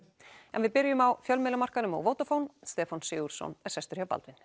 en við byrjum á fjölmiðlamarkaðnum Stefán Sigurðsson er sestur hjá Baldvin